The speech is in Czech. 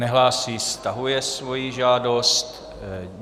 Nehlásí, stahuje svoji žádost.